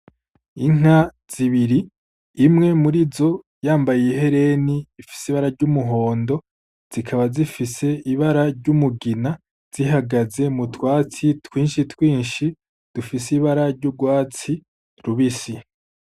Inka zibiri, imwe muri izo yambaye ihereni rifise ibara ry'umuhondo, zikaba zifise ibara ry'umugina, zihagaze mu twatsi twinshi twinshi dufise ibara ry'urwatsi rubisi.